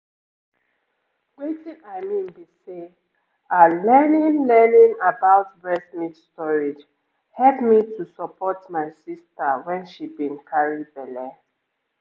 wetin i mean be say ah learning learning about breast milk storage help me to support my sister when she been carry belle